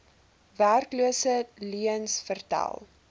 werkloses leuens vertel